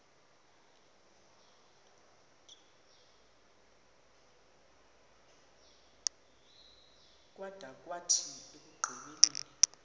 kwada kwathi ekugqibeleni